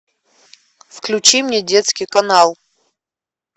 включи мне детский канал